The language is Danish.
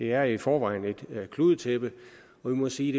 er i forvejen et kludetæppe og vi må sige